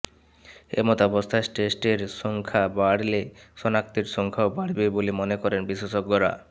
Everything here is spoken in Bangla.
এমতাবস্থায় টেস্টের সংখ্যা বাড়লে শনাক্তের সংখ্যাও বাড়বে বলে মনে করেন বিশেষজ্ঞরা